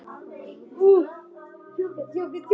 Karen: Og með fyrstu einkunn?